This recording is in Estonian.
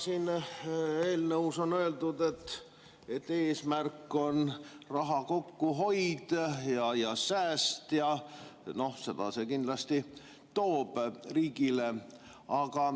Siin eelnõus on öeldud, et eesmärk on raha kokkuhoid, sääst, ja seda see kindlasti toob riigile.